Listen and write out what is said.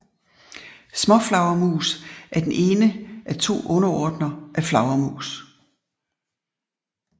Småflagermus er den ene af to underordner af flagermus